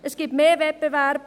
Es gibt mehr Wettbewerb.